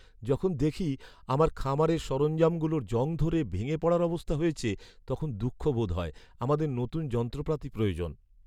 যখন দেখি আমার খামারের সরঞ্জামগুলোর জং ধরে ভেঙে পড়ার অবস্থা হয়েছে, তখন দুঃখ বোধ হয়। আমাদের নতুন যন্ত্রপাতি প্রয়োজন।